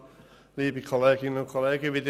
Wir fahren mit Grossrat Güntensperger weiter.